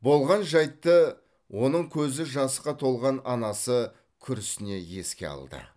болған жайтты оның көзі жасқа толған анасы күрсіне еске алды